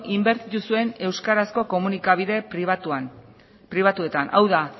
inbertitu zuen euskarazko komunikabide pribatuetan hau da